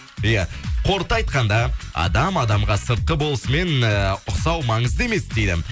иә қорыта айтқанда адам адамға сыртқы болысымен эээ ұқсау маңызды емес дейді